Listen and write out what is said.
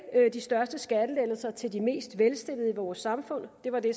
de største skattelettelser til de mest velstillede i vores samfund det var det